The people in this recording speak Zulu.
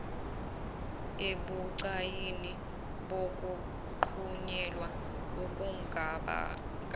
ebucayini bokuqhunyelwa okungabanga